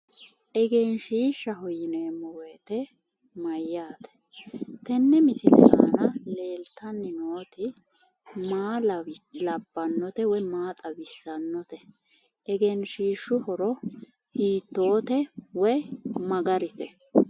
Egensiishshaho yineemmo woyite mayyaate? tenne misile aana leeltanni nooti maa labbannote woy maa xawissannote? egensiishshu horo hiittoote woy mayi garite?